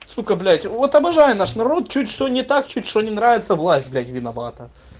сука блять вот обожаю наш народ чуть что не так чуть что не нравится власть блять виновата